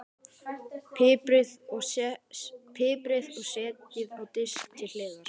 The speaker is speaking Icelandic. Piprið og setjið á disk til hliðar.